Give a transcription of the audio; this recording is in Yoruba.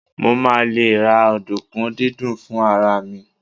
mo ma le ra ọdunkun didin fún ara mi